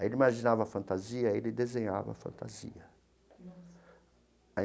Aí ele imaginava a fantasia, ele desenhava a fantasia.